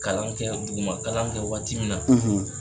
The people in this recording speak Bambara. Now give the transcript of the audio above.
Kalan kɛ dugu ma kalan kɛ waati min na.